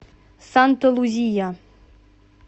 санта лузия